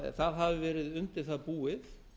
það hafi verið undir það búið